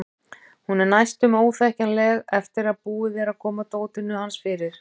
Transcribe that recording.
Hún er næstum óþekkjanleg eftir að búið er að koma dótinu hans fyrir.